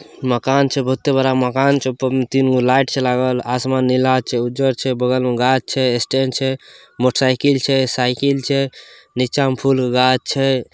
मकान छे बहुते बड़ा मकान छे ऊपर में तीन गो लाइट छे लागल आसमान नीला छे उज्जर छे बगल में गाछ छे स्टैंड छे मोटरसाइकिल छे साइकिल छे नीचा में फूल के घाछ छे।